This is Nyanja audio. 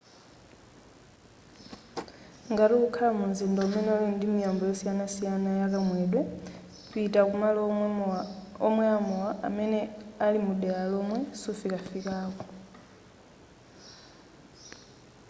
ngati ukukhala mu mzinda umene uli ndi miyambo yosiyanasiyana ya kamwedwe pita kumalo omwela mowa amene ali mudela lomwe sufikafikako